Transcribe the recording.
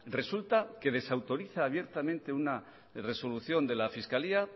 resulta que desautoriza abiertamente una resolución de la fiscalía